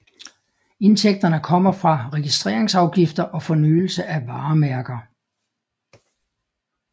Indtægterne kommer fra registreringsafgifter og fornyelse af varemærker